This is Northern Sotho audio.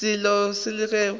selo ge e se go